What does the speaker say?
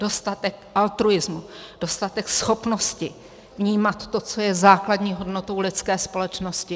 Dostatek altruismu, dostatek schopnosti vnímat to, co je základní hodnotou lidské společnosti?